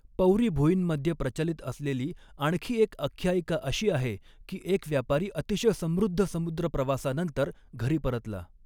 पौरी भुईंमध्ये प्रचलित असलेली आणखी एक आख्यायिका अशी आहे की एक व्यापारी अतिशय समृद्ध समुद्रप्रवासानंतर घरी परतला.